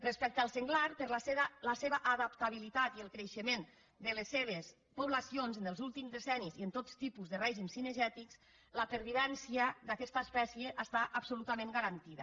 respecte al senglar per la seva adaptabilitat i el creixement de les seves poblacions en els últims decennis i en tot tipus de règims cinegètics la pervivència d’aquesta espècie està absolutament ga·rantida